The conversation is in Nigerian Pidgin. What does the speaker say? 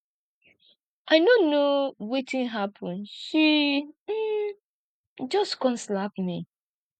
i no know wetin happen she um just come slap me